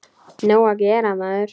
Nóg að gera, maður.